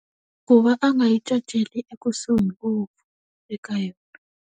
Ku va a nga yi caceli ekusuhi ngopfu, eka yona.